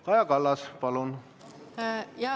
Kaja Kallas, palun!